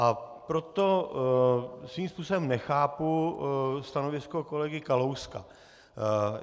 A proto svým způsobem nechápu stanovisko kolegy Kalouska.